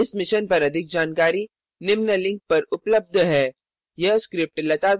इस mission पर अधिक जानकारी निम्न लिंक पर उपलब्ध है